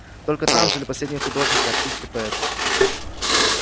только там жили последние художники артисты поэты